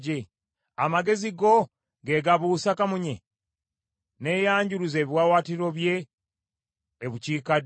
“Amagezi go ge gabuusa kamunye, n’ayanjuluza ebiwaawaatiro bye e bukiikaddyo?